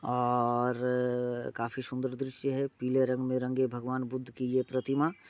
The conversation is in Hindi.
और काफी सुंदर दृश्य है पीला रंग में रंगे भगवान बुद्ध की ये प्रतिमा--